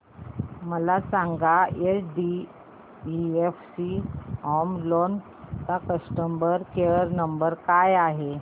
मला सांगा HDFC home loan चा कस्टमर केअर क्रमांक काय आहे